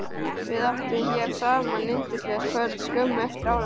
Við áttum hér saman yndislegt kvöld skömmu eftir áramót.